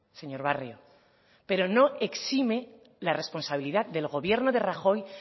señor barrio pero no exime la responsabilidad del gobierno de rajoy